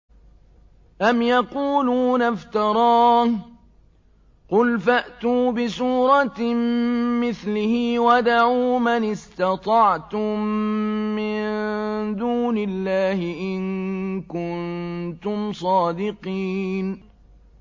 أَمْ يَقُولُونَ افْتَرَاهُ ۖ قُلْ فَأْتُوا بِسُورَةٍ مِّثْلِهِ وَادْعُوا مَنِ اسْتَطَعْتُم مِّن دُونِ اللَّهِ إِن كُنتُمْ صَادِقِينَ